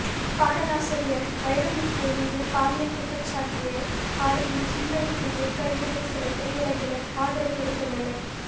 பாடலாசிரியர் வைரமுத்து மீது பாலியல் குற்றஞ்சாட்டிய பாடகி சின்மயிக்கு ஏற்கனவே ஒருசில திரையுலகினர் ஆதர்வு கொடுத்துள்ளனர்